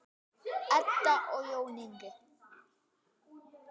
Edda og Jón Ingi.